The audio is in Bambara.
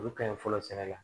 Olu ka ɲi fɔlɔ sɛnɛ la